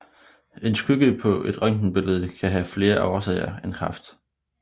En skygge på et røntgenbillede kan have flere årsager end kræft